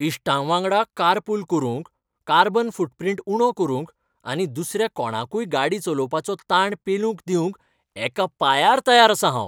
इश्टांवांगडा carpool करूंक, carbon footprint उणो करूंक आनी दुसऱ्या कोणाकूय गाडी चलोवपाचो ताण पेलूंक दिवंक एका पांयार तयार आसां हांव.